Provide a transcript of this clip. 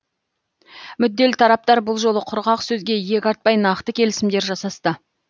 мүдделі тараптар бұл жолы құрғақ сөзге иек артпай нақты келісімдер жасасты